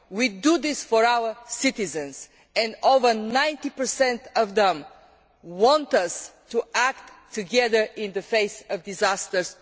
We are doing this for our citizens, and over 90 of them want us to act together in the face of disasters.